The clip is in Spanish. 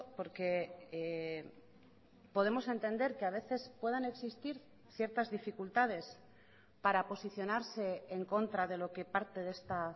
porque podemos entender que a veces puedan existir ciertas dificultades para posicionarse en contra de lo que parte de esta